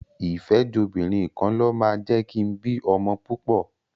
ìfẹ́jobìnrinkanlọ máa jẹ́ kin bí ọmọ púpọ̀.